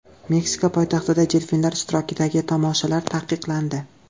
Meksika poytaxtida delfinlar ishtirokidagi tomoshalar taqiqlandi.